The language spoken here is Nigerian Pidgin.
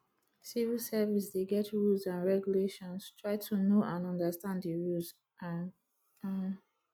civil service dey get rules and regulations try to know and understand di rules um um